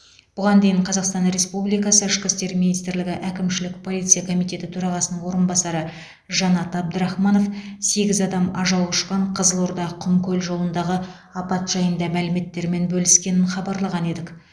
бұған дейін қазақстан республикасы ішкі істер министрлігі әкімшілік полиция комитеті төрағасының орынбасары жанат әбдірахманов сегіз адам ажал құшқан қызылорда құмкөл жолындағы апат жайында мәліметтермен бөліскенін хабарлаған едік